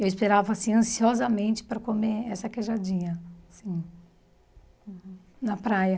Eu esperava, assim, ansiosamente para comer essa queijadinha, assim, na praia.